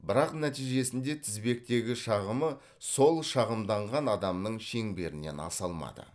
бірақ нәтижесінде тізбектегі шағымы сол шағымданған адамның шеңберінен аса алмады